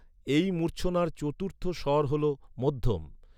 এই মূর্ছনার চতুর্থ স্বর হল মধ্যম।